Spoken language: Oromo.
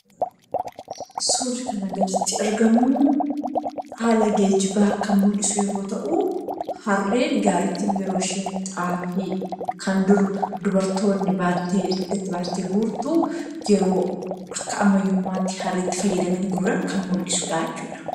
Suurri kanaa gaditti argamu, haala geejjibaa kan mul'isu yommuu ta'u , harreen gaariitiin yeroo ishiin xaafii dur kan dubartoonni baattee dugdatti baattee guurtu, yeroo akka ammayyummaatti harreetti fayyadamanii guuran kan mullisuudhaa jechuudha.